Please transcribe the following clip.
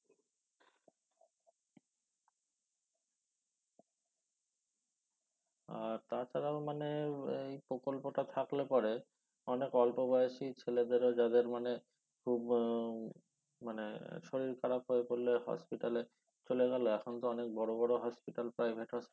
আর তাছাড়াও মানে এর এই প্রকল্পটা থাকলে পরে অনেক অল্প বয়সী ছেলেদেরও যাদের মানে খুব হম মানে শরীর খারাপ হয়ে পড়লে hosipital এ চলে গেল এখন তো অনেক বড় বড় hospital private এ